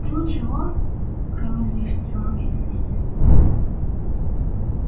да ничего кроме излишней самоуверенности